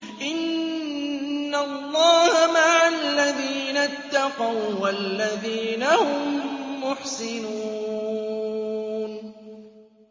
إِنَّ اللَّهَ مَعَ الَّذِينَ اتَّقَوا وَّالَّذِينَ هُم مُّحْسِنُونَ